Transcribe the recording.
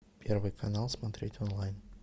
первый канал смотреть онлайн